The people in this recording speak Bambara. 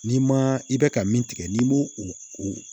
N'i ma i bɛ ka min tigɛ n'i m'o o o